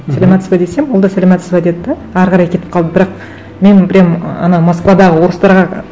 саламатсыз ба десем ол да саламатсыз ба деді де әрі қарай кетіп қалды бірақ менің прямо ы ана москвадағы орыстарға